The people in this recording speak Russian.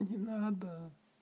не надо